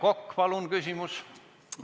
Aivar Kokk, palun küsimus!